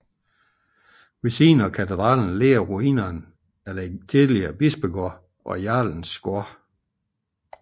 Ved siden af katedralen ligger ruinerne af den tidligere bispegård og jarlens gård